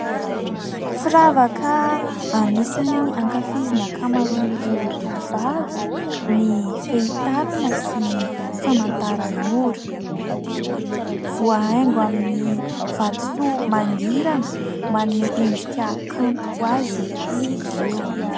Firavaka anisany ankafizin'ny ankamaroan'ireo tovovavy ny fehy tanana sy ny famantaran'ora ; voahaingo amin'ny vatosoa mangirana manome endrika kanto azy izy ireo.